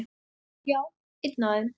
Já, einn af þeim